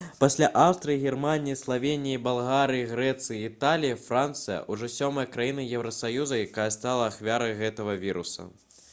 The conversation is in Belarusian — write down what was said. пасля аўстрыі германіі славеніі балгарыі грэцыі і італіі францыя ужо сёмая краіна еўрасаюзу якая стала ахвярай гэтага віруса